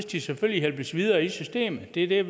de selvfølgelig hjælpes videre i systemet det er